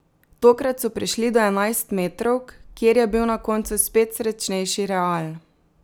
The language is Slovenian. Tokrat so prišli do enajstmetrovk, kjer je bil na koncu spet srečnejši Real.